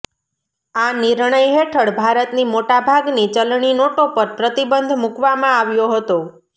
આ નિર્ણય હેઠળ ભારતની મોટા ભાગની ચલણી નોટો પર પ્રતિબંધ મુકાવામાં આવ્યો હતો